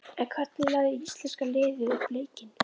En hvernig lagði íslenska liðið upp leikinn?